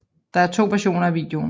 Der er to versioner af videoen